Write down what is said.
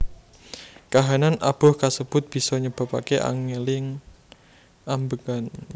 Kahanan abuh kasebut bisa nyebabake angeling ambegan